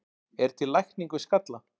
er til lækning við skalla